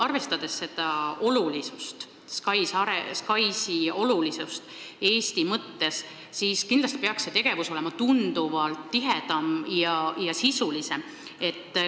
Arvestades SKAIS-i olulisust Eesti mõttes, peaks see tegevus olema tunduvalt tihedam ja sisulisem.